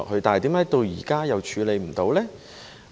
但是，為何到現在都處理不到呢？